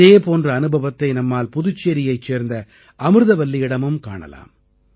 இதே போன்ற அனுபவத்தை நம்மால் புதுச்சேரியைச் சேர்ந்த அமிர்தவல்லியிடமும் காணலாம்